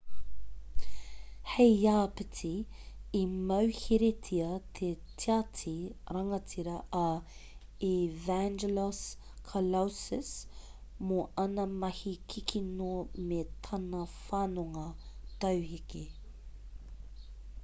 hei āpiti i mauheretia te tiati rangatira a evangelos kalousis mō āna mahi kikino me tana whanonga tauheke